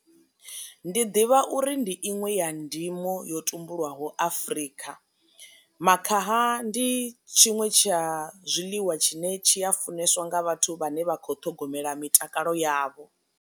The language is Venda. Ndi ḓivha uri ndi inwe ya ndimo yo tumbulwaho afrika. Makhaha ndi tshiṅwe tsha zwiḽiwa tshine tshi a funeswa nga vhathu vhane vha kho ṱhogomela mitakalo yavho.